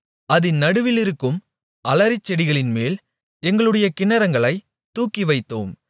அதின் நடுவிலிருக்கும் அலரிச்செடிகளின்மேல் எங்களுடைய கின்னரங்களைத் தூக்கிவைத்தோம்